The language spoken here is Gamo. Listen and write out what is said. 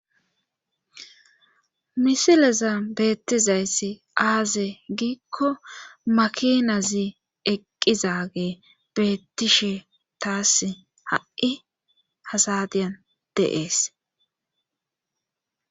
misileza beettizayssi aaze giikko makinazi eqqizage beettishe taas ha7i asadiyan deees